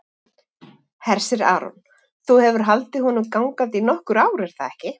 Hersir Aron: Þú hefur haldið honum gangandi í nokkur ár, er það ekki?